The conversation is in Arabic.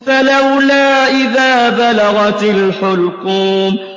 فَلَوْلَا إِذَا بَلَغَتِ الْحُلْقُومَ